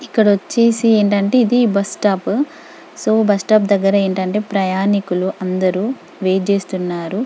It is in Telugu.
ఇక్కడ వచ్చేసి ఏంటంటే ఇది బస్టాప్ సో బస్టాప్ దగ్గర ఏంటంటే ప్రయాణికులు అందరు వెయిట్ చేస్తున్నారు.